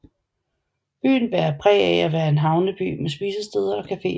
Byen bærer præg af at være en havneby med spisesteder og cafeer